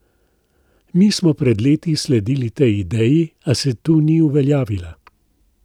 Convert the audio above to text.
Mi smo pred leti sledili tej ideji, a se tu ni uveljavila.